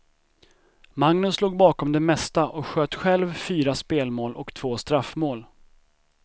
Magnus låg bakom det mesta och sköt själv fyra spelmål och två straffmål.